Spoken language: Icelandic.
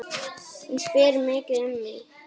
Hún spyr mikið um þig.